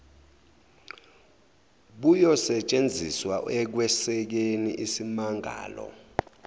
buyosetshenziswa ekwesekeni isimmangalo